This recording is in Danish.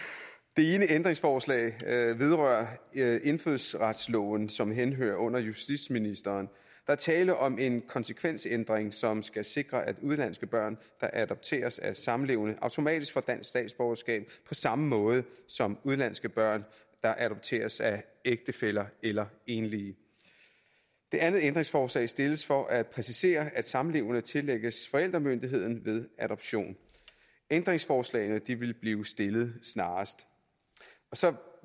det ene ændringsforslag vedrører indfødsretsloven som henhører under justitsministeren er tale om en konsekvensændring som skal sikre at udenlandske børn der adopteres af samlevende automatisk får dansk statsborgerskab på samme måde som udenlandske børn der adopteres af ægtefæller eller enlige det andet ændringsforslag stilles for at præcisere at samlevende tillægges forældremyndigheden ved adoption ændringsforslagene vil blive stillet snarest så